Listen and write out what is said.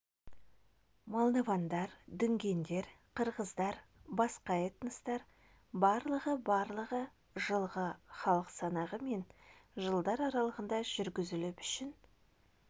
мордвалар дүнгендер қырғыздар басқа этностар барлығы барлығы жылғы халық санағы мен жылдар аралығында жүргізіліп үшін